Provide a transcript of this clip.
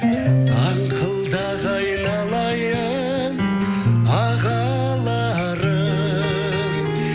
аңқылдақ айналайын ағаларым